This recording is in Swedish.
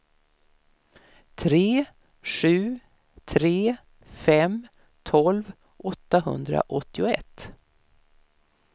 tre sju tre fem tolv åttahundraåttioett